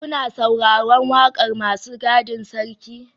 Kuna sauraron wakar masu gadin sarki?